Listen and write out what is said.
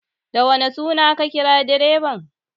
Da wane suna ka kira direban?